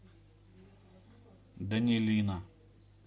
данилина